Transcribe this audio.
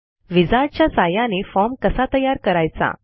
wizard च्या सहाय्याने form कसा तयार करायचा